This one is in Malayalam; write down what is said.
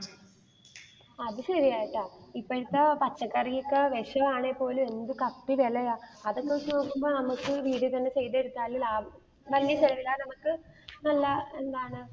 അത് ശരിയാട്ടാ, ഇപ്പോഴത്തെ പച്ചക്കറി ഒക്കെ വിഷമാണെപോലും എന്ത് കത്തി വിലയാ. അതൊക്കെ വെച്ച് നോക്കുമ്പോൾ നമുക്ക് വീടുകളിൽ ചെയ്തെടുത്താലെ ലാഭം, വല്യേ ചെലവില്ലാതെ നമുക്ക് നല്ല എന്താണ്